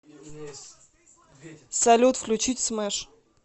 салют включить смэш